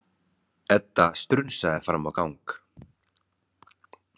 Edda strunsaði fram á gang.